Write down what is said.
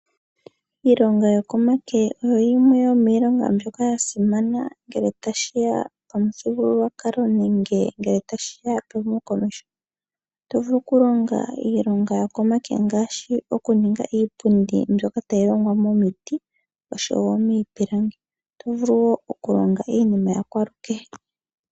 Iilonga yokomake oyo yimwe yomiilonga mbyoka yasimana ngele tashiya kOmuthigululwakalo nenge ngele tashiya kehumokomeho. Otovulu kulonga iilonga yokomake ngaashi okuninga iipundi, mbyoka tayi longwa momiti, oshowo miipilangi. Otovulu wo okulonga iinima yakwalukehe.